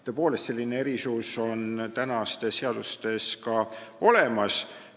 Tõepoolest, selline erisus on tänastes seadustes ka olemas.